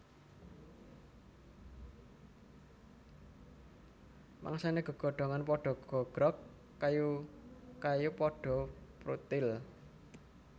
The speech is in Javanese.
Mangsané gegodhongan padha gogrog kayu kayu padha pruthil